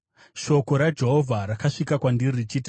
Shoko raJehovha rakasvika kwandiri richiti,